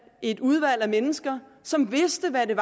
et udvalg af mennesker som vidste hvad det